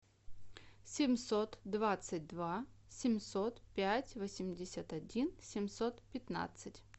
семьсот двадцать два семьсот пять восемьдесят один семьсот пятнадцать